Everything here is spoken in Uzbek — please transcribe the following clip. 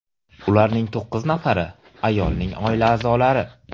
Ularning to‘qqiz nafari ayolning oila a’zolari.